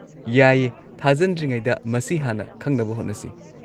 ꯌꯥꯏꯌꯦ, ꯊꯥꯖꯟꯗ꯭ꯔꯤꯉꯩꯗ ꯃꯁꯤ ꯍꯥꯟꯅ ꯈꯪꯅꯕ ꯍꯣꯠꯅꯁꯤ꯫